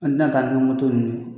An tɛna taa ni moto ninnu